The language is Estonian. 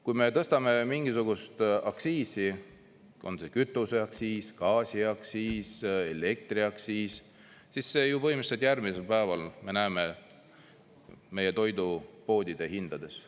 Kui me tõstame mingisugust aktsiisi, on see kütuseaktsiis, gaasiaktsiis, elektriaktsiis, siis seda ju põhimõtteliselt järgmisel päeval me näeme meie toidupoodide hindades.